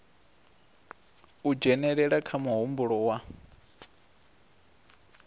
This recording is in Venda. u dzhenelela kha muhumbulo wa